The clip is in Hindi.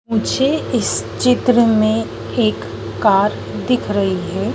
मुझे इस चित्र में एक कार दिख रही है।